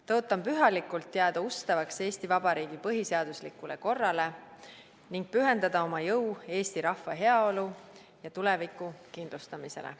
Tõotan pühalikult jääda ustavaks Eesti Vabariigi põhiseaduslikule korrale ning pühendada oma jõu eesti rahva heaolu ja tuleviku kindlustamisele.